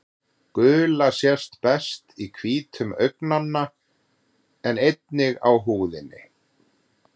Gula sést best í hvítum augnanna en einnig á húðinni.